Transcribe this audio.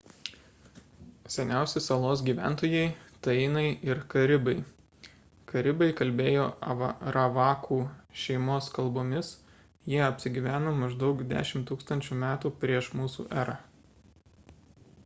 seniausi salos gyventojai – tainai ir karibai karibai kalbėjo aravakų šeimos kalbomis jie apsigyveno maždaug 10 000 m pr m e